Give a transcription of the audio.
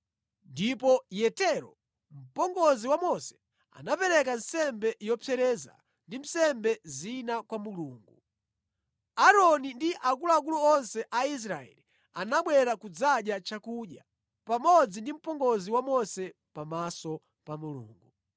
Ndipo Yetero, mpongozi wa Mose anapereka nsembe yopsereza ndi nsembe zina kwa Mulungu. Aaroni ndi akuluakulu onse a Israeli anabwera kudzadya chakudya pamodzi ndi mpongozi wa Mose pamaso pa Mulungu.